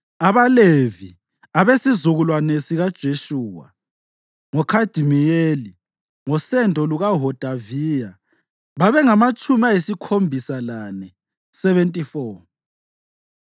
AbaLevi: abesizukulwane sikaJeshuwa (ngoKhadimiyeli ngosendo lukaHodaviya) babengamatshumi ayisikhombisa lane (74).